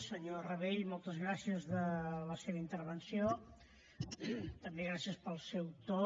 senyor rabell moltes gràcies per la seva intervenció també gràcies pel seu to